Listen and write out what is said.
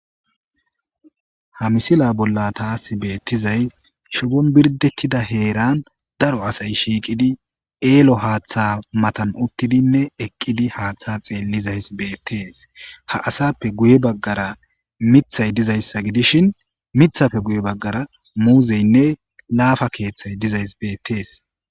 Ha misila bolla taas beettizay shobon birdettida heeran daro asay shiiqidi eelo haaththa matan uttidinne eqqidi haaththa xeellizays beettees ha asappe guye baggara mithay dizayssa gidishin mithappe guye baggara muuzeynne laafa keeththay dizays beettees